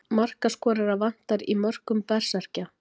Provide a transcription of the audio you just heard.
Markaskorara vantar í mörkum Berserkja.